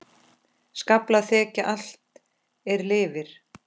Skaflar þekja allt er lifir.